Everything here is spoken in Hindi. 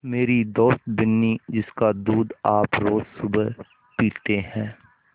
मेरी दोस्त बिन्नी जिसका दूध आप रोज़ सुबह पीते हैं